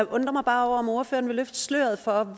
undrer mig bare over om ordføreren vil løfte sløret for